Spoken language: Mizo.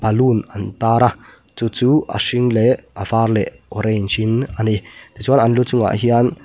ballon an tar a chu chu a hring leh a var leh a orange in a ni ti chuan an lu chungah hian--